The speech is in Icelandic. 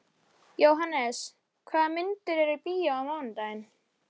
Jóhannes, hvaða myndir eru í bíó á mánudaginn?